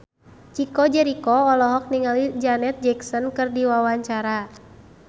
Chico Jericho olohok ningali Janet Jackson keur diwawancara